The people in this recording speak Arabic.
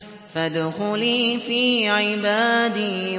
فَادْخُلِي فِي عِبَادِي